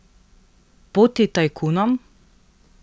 Poti tajkunom?